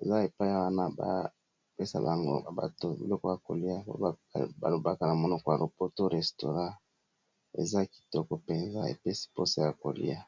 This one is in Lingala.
eza epaya wana bapesa bango bato biloko ya kolia pe balobaka na monoko ya lopoto restaurant eza kitoko mpenza epesi mposa ya kolia.